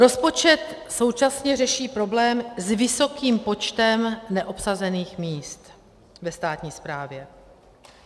Rozpočet současně řeší problém s vysokým počtem neobsazených míst ve státní správě.